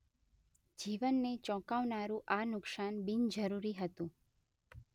જીવનને ચોંકાવનારુ આ નુકસાન બિનજરૂરી હતું